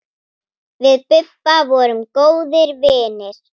Við Bubba vorum góðir vinir.